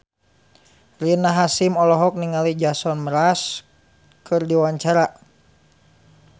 Rina Hasyim olohok ningali Jason Mraz keur diwawancara